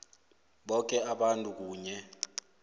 boke abantu kunye